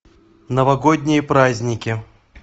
новогодние праздники